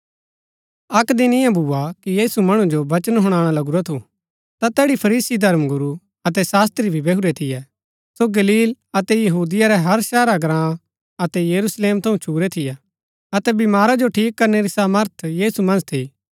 अक्क दिन ईयां भूआ कि यीशु मणु जो वचन हुणाणा लगूरा थू ता तैठी फरीसी धर्मगुरू अतै शास्त्री भी बैहुरै थियै सो गलील अतै यहूदिया रै हर शहरा ग्राँ अतै यरूशलेम थऊँ छुरै थियै अतै बीमारा जो ठीक करणै री सामर्थ यीशु मन्ज थी